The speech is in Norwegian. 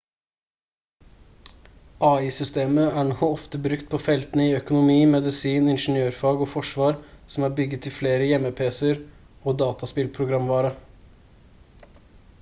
ai-systemet er nå ofte brukt på feltene i økonomi medisin ingeniørfag og forsvar som er bygget i flere hjemmepc-er og dataspillprogramvare